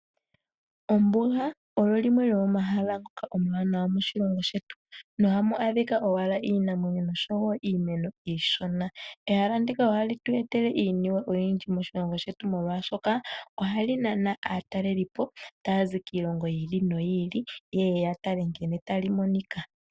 Ombinga olo limwe lyomomahala ngoka omanawa moshilongo shetu ,nohamu adhika owala Iinamwenyo noshowo iimeno ishona, ehala ndika ohalitwetele iinima oyindji moshilongo shetu molwashoka ohali nana atalelipo tayazi kiilongo yili noyili yeye yatale nkene talimonika.